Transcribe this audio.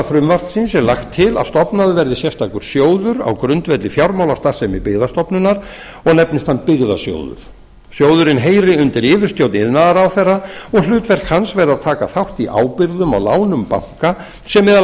frumvarpsins er lagt til að stofnaður verði sérstakur sjóður á grundvelli fjármálastarfsemi byggðastofnunar og nefnist hann byggðasjóður sjóðurinn heyri undir yfirstjórn iðnaðarráðherra og hlutverk hans verði að taka þátt í ábyrgðum og lánum banka sem meðal